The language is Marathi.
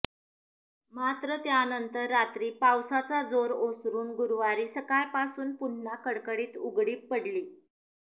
मात्र त्यानंतर रात्री पावसाचा जोर ओसरून गुरुवारी सकाळपासून पुन्हा कडकडीत उघडीप पडली